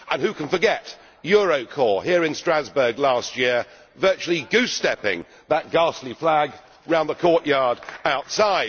and who can forget Eurocorps here in Strasbourg last year virtually goose-stepping that ghastly flag round the courtyard outside?